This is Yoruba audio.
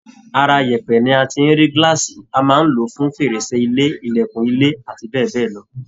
Ara yẹ̀pẹ̀ ni a ti ń rí glass, a máa ń lò í fún fèrèsé ilé, ìlẹ̀kùn ilé abbl.